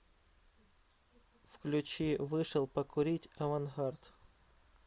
включи вышел покурить авангард